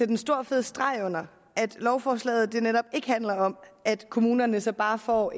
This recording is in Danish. en stor fed streg under at lovforslaget netop ikke handler om at kommunerne så bare får